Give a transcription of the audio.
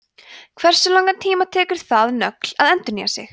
hversu langan tíma tekur það nögl að endurnýja sig